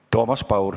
Toomas Paur.